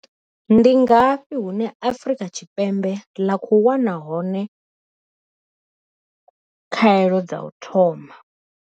Ndi ngafhi hune Afrika Tshi Ndi ngafhi hune Afrika Tshipembe ḽa khou wana hone khaelo dza u thoma?